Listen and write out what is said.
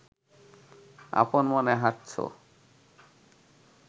আপন মনে হাঁটছো